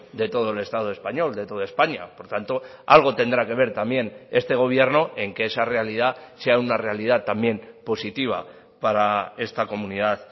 de todo el estado español de toda españa por tanto algo tendrá que ver también este gobierno en que esa realidad sea una realidad también positiva para esta comunidad